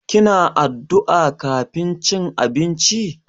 Kina addu'a kafin cin abinci?